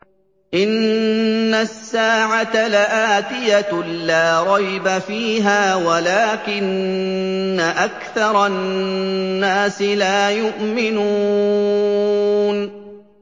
إِنَّ السَّاعَةَ لَآتِيَةٌ لَّا رَيْبَ فِيهَا وَلَٰكِنَّ أَكْثَرَ النَّاسِ لَا يُؤْمِنُونَ